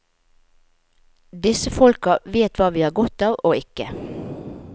Disse folka vet hva vi har godt av og ikke.